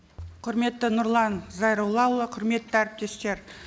құрметті нұрлан зайроллаұлы құрметті әріптестер